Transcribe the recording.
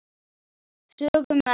sögðu menn.